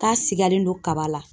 K'a sigalen don kaba la